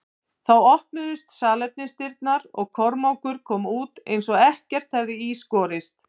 Þá opnuðust salernisdyrnar og Kormákur kom út eins og ekkert hefði í skorist.